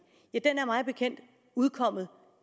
er mig bekendt udkommet